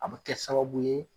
A bɛ kɛ sababu ye.